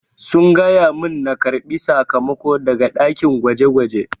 Sun gaya mun na karbi sakamako daga dakin gwaje-gwaje.